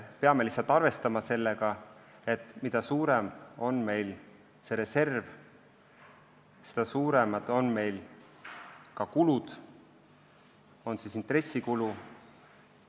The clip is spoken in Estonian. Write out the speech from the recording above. Peame lihtsalt arvestama sellega, et mida suurem on meie reserv, seda suuremad on ka kulud, näiteks intressikulu.